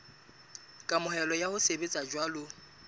kamohelo ya ho sebetsa jwalo